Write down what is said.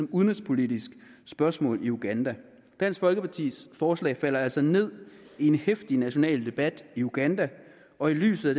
udenrigspolitisk spørgsmål i uganda dansk folkepartis forslag falder altså ned i en heftig national debat i uganda og i lyset